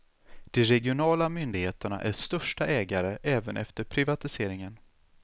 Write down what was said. De regionala myndigheterna är största ägare även efter privatiseringen.